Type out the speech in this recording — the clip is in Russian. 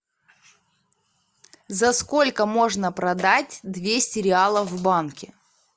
за сколько можно продать двести реалов в банке